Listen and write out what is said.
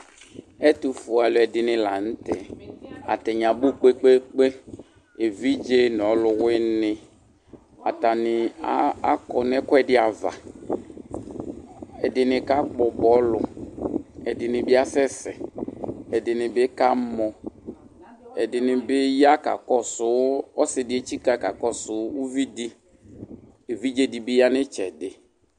Ɛtufue aluɛdini la nu tɛ atani abu kpekpekpe evidze nu ɔluwini atani akɔ nu ɛkuɛdi ava ɛdini kakpɔ bɔlu ɛdini bi asɛsɛ ɛdini bi kamɔ ɛdini ya kakɔsu ɔsidi etsika kakɔsu uvidi uvidi bi ya nu itsɛdi